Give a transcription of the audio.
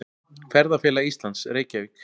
Ferðafélag Íslands, Reykjavík.